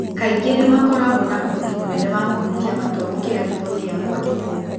Kaingĩ nĩ makoragwo na ũhoti mũnene wa kũhutia matua gũkĩra riboti ya kwandĩkwo.